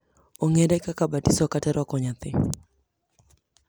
ong’ere kaka batiso kata rwako nyathi.